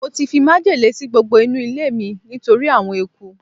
mo ti fi májèlé si gbogbo inu ilé mi nitori awon eku